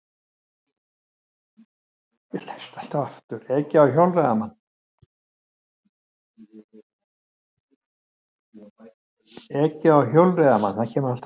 Ekið á hjólreiðamann